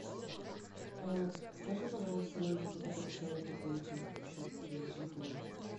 скажи пожалуйста номер на котороый тебе надо пополнить счет телефона